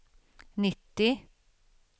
nittio